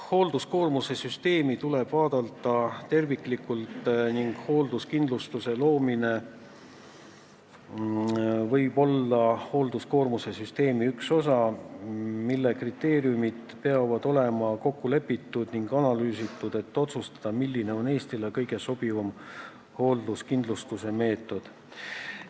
Hoolduskoormuse süsteemi tuleb vaadata terviklikult ning hoolduskindlustuse loomine võib olla hoolduskoormuse süsteemi üks osa, mille kriteeriumid peavad olema kokku lepitud ning analüüsitud, et otsustada, milline on Eestile kõige sobivam hoolduskindlustuse meetod.